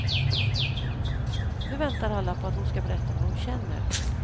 Nu väntar alla på att hon ska berätta vad hon känner.